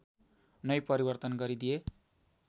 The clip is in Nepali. नै परिवर्तन गरिदिए